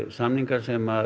samningar sem